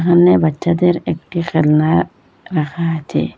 সামনে বাচ্চাদের একটি খেলনা রাখা আচে।